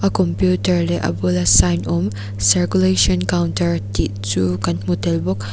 computer leh a bula sign awm circulation counter tih chu kan hmu tel bawk.